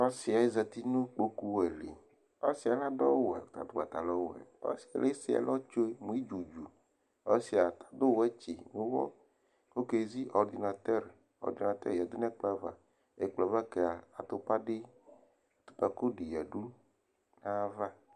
ɔsiɛ zati nu ikpoku wɛ dili ɔsiɛ ladu awuwɛ nu patalɔ ɔwɛ kuesi ɛlɔ tsue nudu ɔsiadu wɛtsi nuit kɔkezi ɔdinatɔr ɔdinatɔr yadu nɛkplɔ avaɛkplɔ ava kadu kpadi atupako di yadu nɛkplɔvava,